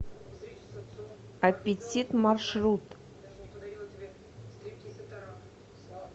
аппетит маршрут